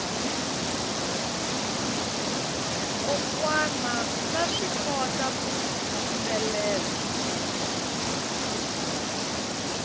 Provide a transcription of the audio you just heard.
kokwana vaswi kota ku yimbelela